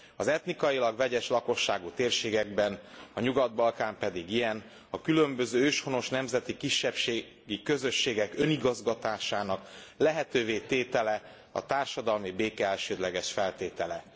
Az etnikailag vegyes lakosságú térségekben, a Nyugat Balkán pedig ilyen, a különböző őshonos nemzeti kisebbségi közösségek önigazgatásának lehetővé tétele a társadalmi béke elsődleges feltétele.